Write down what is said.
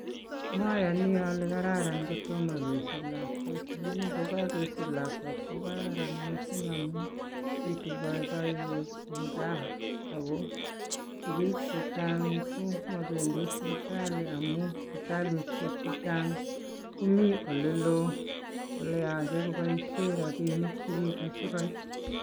mayani ale kararn ale ktotmo kesich lakwet. lakini kokagesich lakwet kokaran mising amuu pitu paipaiyet eng kaa. ako sisgik chechang komabendi sipitali amuu sipitalishek chechang komitei oleloo ole yachei kopaishei rapinik chechang.